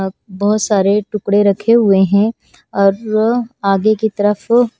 बहुत सारे टुकड़े रखे हुए हैं और आगे की तरफ--